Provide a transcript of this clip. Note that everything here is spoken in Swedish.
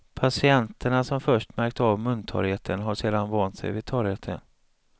Patienterna som först märkt av muntorrheten har sedan vant sig vid torrheten.